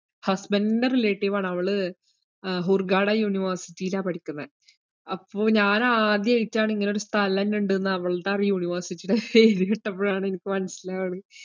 husband ൻറെ relative ആണവള് ആഹ് ഹൂർഗാഡാ university യിലാ പഠിക്കുന്നേ, അപ്പോ ഞാന് ആദ്യായിട്ടാണ് ഇങ്ങനൊരു സ്ഥലന്നെ ഇണ്ട്ന്ന് അവൾടെ അറി~ ആ university ഈടെ പേര് കിട്ടുമ്പോഴാണ് എനിക്ക് മനസ്സിലാവുന്നെ.